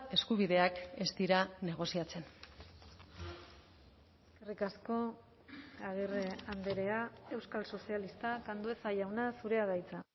eskubideak ez dira negoziatzen eskerrik asko agirre andrea euskal sozialistak andueza jauna zurea da hitza